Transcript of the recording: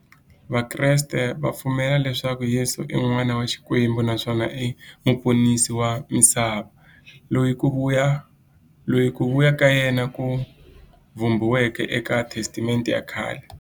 Vakreste va pfumela leswaku Yesu i n'wana wa Xikwembu naswona i muponisi wa misava, loyi ku vuya ka yena ku vhumbiweke e ka Testamente ya khale.